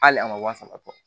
Hali a ma sabatɔ